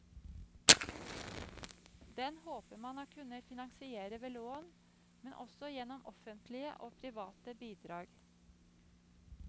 Den håper man å kunne finansiere ved lån, men også gjennom offentlige og private bidrag.